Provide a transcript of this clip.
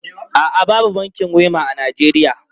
A'a, babu bankin Wema a Najeriya.